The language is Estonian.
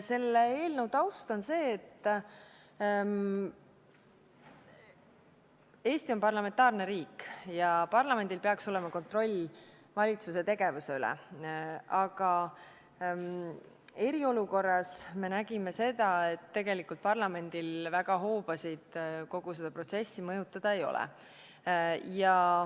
" Selle eelnõu taust on see, et Eesti on parlamentaarne riik ja parlamendil peaks olema kontroll valitsuse tegevuse üle, aga eriolukorras me nägime, et tegelikult parlamendil hoobasid kogu seda protsessi mõjutada väga ei ole.